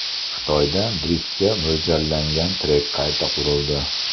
Xitoyda driftga mo‘ljallangan trek qayta qurildi.